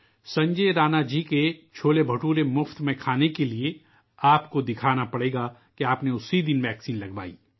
سنجے رانا جی کے چھولے بھٹورے مفت کھانے کے لئے، آپ کو یہ دکھانا ہوگا کہ آپ نے اس دن ٹیکہ لگوایا ہے